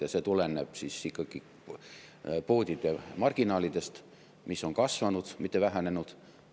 Ja see tuleneb poodide marginaalidest, mis on kasvanud, mitte vähenenud.